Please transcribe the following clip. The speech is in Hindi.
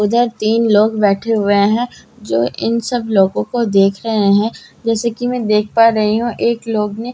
उधर तीन लोग बैठे हुए है जो इन सब लोगों को देख रहे है जैसे कि मैं देख पा रही हूं एक लोग ने हाथ में--